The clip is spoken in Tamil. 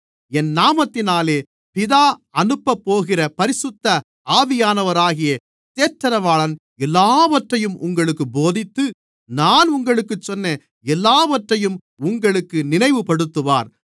என் நாமத்தினாலே பிதா அனுப்பப்போகிற பரிசுத்த ஆவியானவராகிய தேற்றரவாளன் எல்லாவற்றையும் உங்களுக்குப் போதித்து நான் உங்களுக்குச் சொன்ன எல்லாவற்றையும் உங்களுக்கு நினைவுபடுத்துவார்